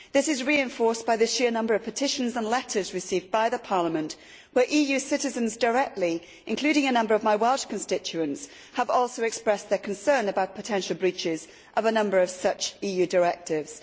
This is reinforced by the sheer number of petitions and letters received by the Parliament, where EU citizens, including a number of my Welsh constituents, have also directly expressed their concern about potential breaches of a number of such EU directives.